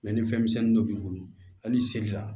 ni fɛn misɛnnin dɔ b'i bolo hali seli la